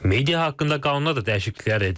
Media haqqında qanuna da dəyişikliklər edilib.